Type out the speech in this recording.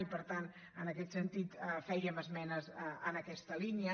i per tant en aquest sentit fèiem esmenes en aquesta línia